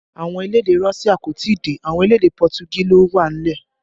Àwọn elédè Russia kò tí ì dé, àwọn elédè Pọtugí ló wà nílẹ̀